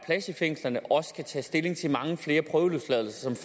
i fængslerne også kan tage stilling til mange flere prøveløsladelser som